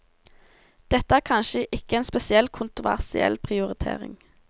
Dette er kanskje ikke en spesielt kontroversiell prioritering.